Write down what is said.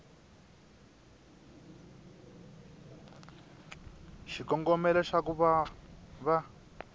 xikongomelo xa ku va va